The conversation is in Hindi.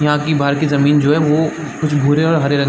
यहाँ की बाहर की जमीन जो हैं वो कुछ भूरे और हरे रंग--